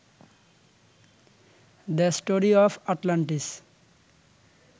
the story of Atlantis